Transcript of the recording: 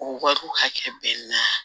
O wariw hakɛ bɛ na